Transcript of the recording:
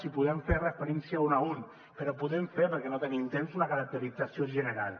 els podem fer referència un a un però podem fer perquè no tenim temps una caracterització general